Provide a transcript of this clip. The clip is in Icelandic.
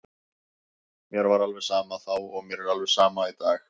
Mér var alveg sama þá og mér er alveg sama í dag.